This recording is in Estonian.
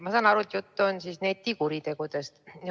Ma saan aru, et jutt on netikuritegudest.